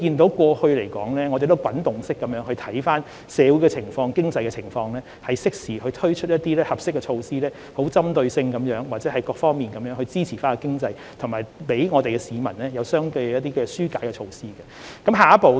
所以，我們要持續監察社會及經濟情況，適時推出合適措施，針對性地或從多方面支持經濟，並為市民推出相應的紓困措施。